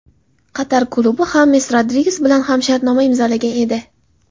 Qatar klubi Xames Rodriges bilan ham shartnoma imzolagan edi.